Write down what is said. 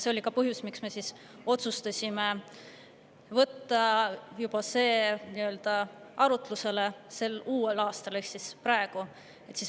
See oli ka põhjus, miks me otsustasime võtta selle arutlusele uuel aastal ehk praegu.